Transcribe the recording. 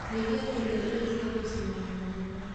Nyihia kũrĩa irio cia gũcinwo na maguta